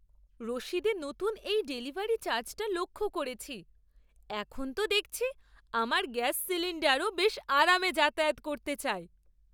রসিদে নতুন এই ডেলিভারি চার্জটা লক্ষ করেছি। এখন তো দেখছি আমার গ্যাস সিলিণ্ডারও বেশ আরামে যাতায়াত করতে চায়!